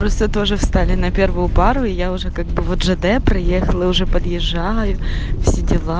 просто тоже встали на первую пару и я уже как бы вот жд проехала и уже подъезжаю все дела